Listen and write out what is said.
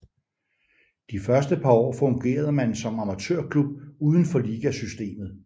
De første par år fungerede man som amatørklub uden for ligasystemet